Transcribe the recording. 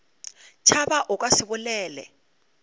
tšhaba o ka se bolele